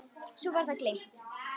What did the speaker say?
Svo var það gleymt.